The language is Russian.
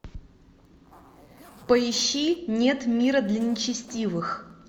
поищи нет мира для нечестивых